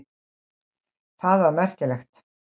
Það var merkilegt.